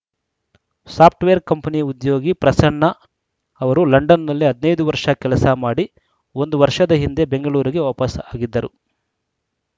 software company ಉದ್ಯೋಗಿ ಪ್ರಸನ್ನ ಅವರು ಲಂಡನ್‌ನಲ್ಲಿ ಹದಿನೈದು ವರ್ಷ ಕೆಲಸ ಮಾಡಿ ಒಂದು ವರ್ಷದ ಹಿಂದೆ ಬೆಂಗಳೂರಿಗೆ ವಾಪಸ್‌ ಆಗಿದ್ದರು